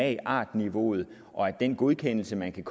at magart niveauet og den godkendelse man kan